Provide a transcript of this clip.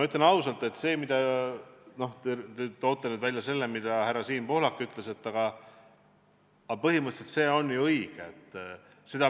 Te toote välja selle, mida härra Siim Pohlak ütles, aga põhimõtteliselt on tema öeldu ju õige.